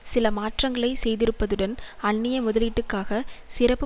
சில மாற்றங்களை செய்திருப்பதுடன் அன்னிய முதலீட்டுக்காக சிறப்பு